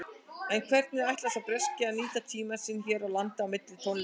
En hvernig ætlar sá breski að nýta tímann sinn hér á landi á milli tónleikanna?